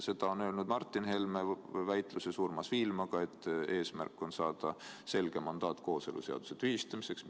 Seda on öelnud Martin Helme väitluses Urmas Viilmaga, et eesmärk on saada selge mandaat kooseluseaduse tühistamiseks.